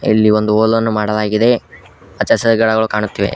ಇಲ್ಲಿ ಒಂದು ಹೋಲ್ ಅನ್ನು ಮಾಡಲಾಗಿದೆ ಅಚ್ಚ ಹಸಿರ ಗಿಡಗಳ ಕಾಣುತ್ತಿವೆ.